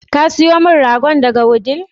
Ka sayo min ragon daga Wudil?